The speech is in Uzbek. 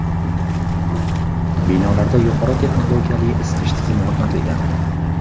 Binolarda yuqori texnologiyali isitish tizimi o‘rnatilgan.